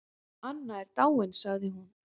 Anna er dáin sagði hún.